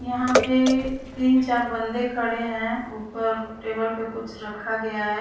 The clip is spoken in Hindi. यहाँ पे तीन चार बंदे खड़े हैं ऊपर टेबल पर कुछ रखा गया है।